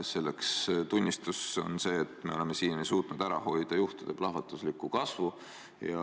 Selle tunnistus on see, et me oleme siiani suutnud ära hoida juhtude plahvatuslikku kasvu.